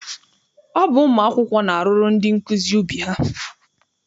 Ọ bụ ụmụ akwụkwọ na-arụrụ ndị nkụzi ubi ha.